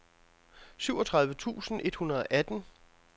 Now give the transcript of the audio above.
syvogtredive tusind et hundrede og atten